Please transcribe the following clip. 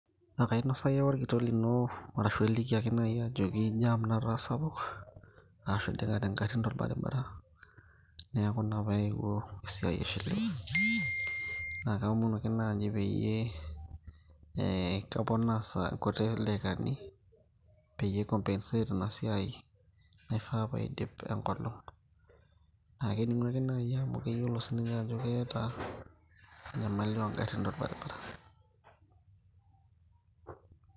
akainosaki ake naaji olkitok lino arashu iliki naaji ajoki jam nataa sapuk arashu iding'ate igarrin tolbaribara neeku ina paaewuo esiai aishiliwe naa kaomonu ake naaji peyie kaponaa ilkuti daikani peyie ai CS[compensate]CS naifaa paidip enkolong' naa kening'u ake naaji amu keyiolo sinye ajo keetai enyamali oo garrin tolbaribara.